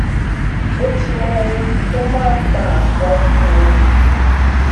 ó ti mọ ohun tó máa ń fa aápọn fún un